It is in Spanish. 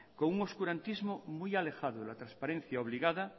con un oscurantismo muy alejado de la transparencia obligada